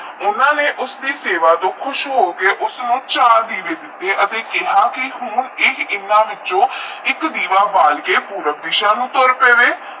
ਉਨਾ ਨੇ ਉਸਕੀ ਸੇਵਾ ਤੋਂ ਖੁਸ਼ ਹੋ ਕੇ ਉਸਨੂ ਚਾਰ ਦੇਵੇ ਦਿਤੇ ਅਤੇ ਕਿਹਾ ਵੀ ਉਹ ਓਹਨਾ ਵਿੱਚੋ ਇਕ ਦੇਵਾ ਉਬਾਲ ਕੇ ਪੁਰਬ ਦੇਸਹਾ ਨੂੰ ਤੁਰ ਪਾਵੇ